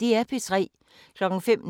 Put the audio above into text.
Liga 20:03: Sommeraften (lør-søn)